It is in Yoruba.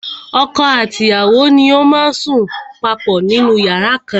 Ọkọ àti ìyàwó ni ó má ń sùn papọ̀ nínú yàrá kan na.